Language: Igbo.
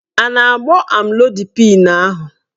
A na-agbọ amlodipịn ahụ?